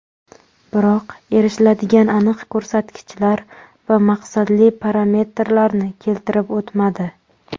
Biroq erishiladigan aniq ko‘rsatkichlar va maqsadli parametrlarni keltirib o‘tmadi.